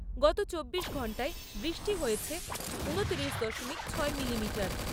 গত চব্বিশ ঘন্টায় বৃষ্টি হয়েছে ঊনত্রিশ দশমিক ছয় মিলিমিটার।